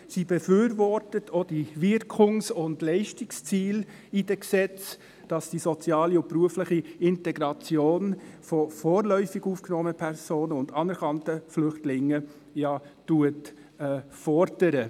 Sie befürwortet auch die Wirkungs- und Leistungsziele in den Gesetzen, welche ja die soziale und berufliche Integration von vorläufig aufgenommenen Personen und anerkannten Flüchtlingen fordern.